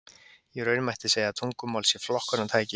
Í raun mætti segja að tungumál sé flokkunartæki.